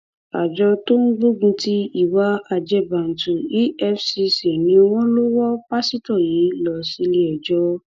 àjọ tó ń gbógun ti ìwà ajẹbànù efcc ni wọn lọ wọ pásítọ yìí lọ síléẹjọ